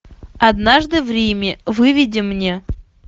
однажды в риме выведи мне